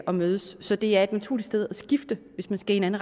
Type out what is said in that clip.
og mødes så det er et naturligt sted at skifte hvis man skal i en